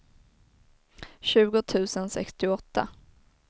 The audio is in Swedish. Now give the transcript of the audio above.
tjugo tusen sextioåtta